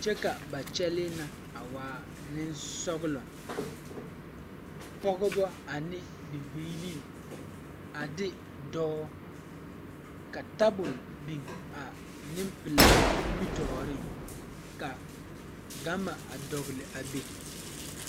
kyɛvka ba kyɛlee na a waa neŋsɔglɔ pɔgebɔ ane bibilii a de dɔɔ ka tabol biŋ a neŋpilaa nimitooreŋ ka gama a dɔgle a be.